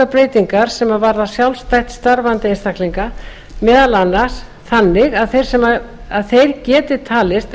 breytingar sem varða sjálfstætt starfandi einstaklinga meðal annars þannig að þeir geti talist